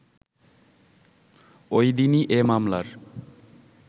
ওইদিনই এ মামলার